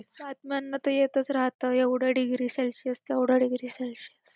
तापमान तरी येतच राहतं एवढं degree celsius तेवढं degree celcius